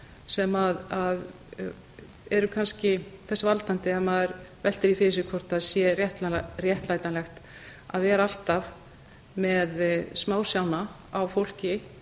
sem eru kannski þess valdandi að maður veltir því fyrir sér hvort það sé réttlætanlegt að vera alltaf með smásjána á fólki